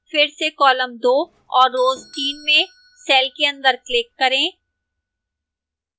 फिर से column 2 और row 3 में cell के अंदर click करें